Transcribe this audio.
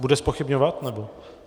Bude zpochybňovat nebo...